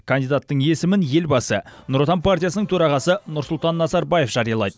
кандидаттың есімін елбасы нұр отан партиясының төрағасы нұрсұлтан назарбаев жариялайды